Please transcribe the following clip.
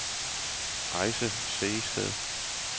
Ayse Sehested